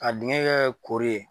A dingɛ bɛ kɛ koori ye.